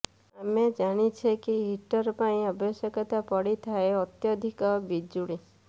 ଆମେ ଜାଣିଛେ କି ହିଟର ପାଇଁ ଆବଶ୍ୟକତା ପଡିଥାଏ ଅତ୍ୟଧିକ ବିଜୁଳି